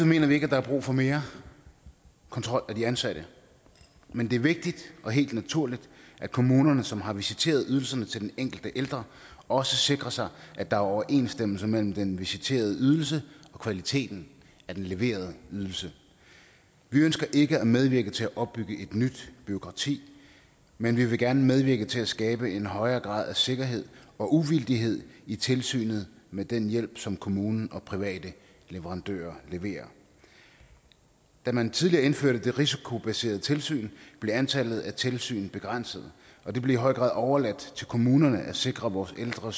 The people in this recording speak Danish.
mener vi ikke der er brug for mere kontrol af de ansatte men det er vigtigt og helt naturligt at kommunerne som har visiteret ydelserne til den enkelte ældre også sikrer sig at der er overensstemmelse mellem den visiterede ydelse og kvaliteten af den leverede ydelse vi ønsker ikke at medvirke til at opbygge et nyt bureaukrati men vi vil gerne medvirke til at skabe en højere grad af sikkerhed og uvildighed i tilsynet med den hjælp som kommunen og private leverandører leverer da man tidligere indførte det risikobaserede tilsyn blev antallet af tilsyn begrænset og det blev i høj grad overladt til kommunerne at sikre vores ældre